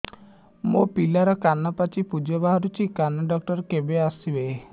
ମୋ ପିଲାର କାନ ପାଚି ପୂଜ ବାହାରୁଚି କାନ ଡକ୍ଟର କେବେ ଆସିବେ